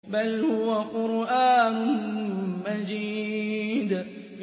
بَلْ هُوَ قُرْآنٌ مَّجِيدٌ